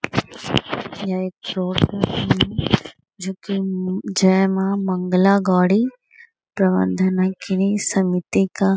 यह एक शॉप है जो की हम्म जय माँ मंगला गौरी प्रबंध नायकिनी समिति का --